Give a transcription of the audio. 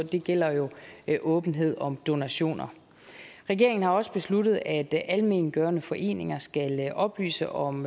det gælder jo åbenhed om donationer regeringen har også besluttet at almengørende foreninger skal oplyse om